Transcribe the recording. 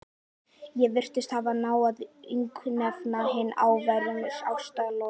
Ég virðist hafa náð að yfirgnæfa hin háværu ástaratlot